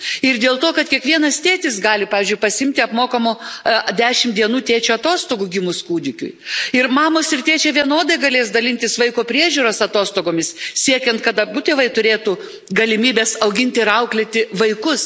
Ir dėl to, kad kiekvienas tėtis gali, pavyzdžiui, pasiimti apmokamų dešimt dienų tėčio atostogų gimus kūdikiui, ir mamos, ir tėčiai vienodai galės dalintis vaiko priežiūros atostogomis siekiant, kad abu tėvai turėtų galimybes auginti ir auklėti vaikus.